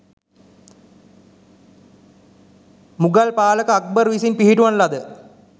මුගල් පාලක අක්බර් විසින් පිහිටුවන ලද